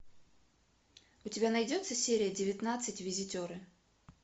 у тебя найдется серия девятнадцать визитеры